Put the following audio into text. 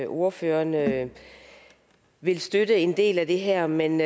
ordføreren vil støtte en del af det her men